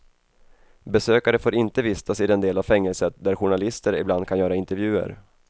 Besökare får inte vistas i den del av fängelset där journalister ibland kan göra intervjuer.